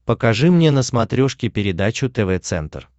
покажи мне на смотрешке передачу тв центр